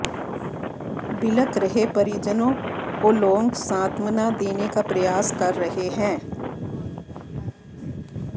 बिलख रहे परिजनों को लोग सांत्वना देने का प्रयास कर रहे है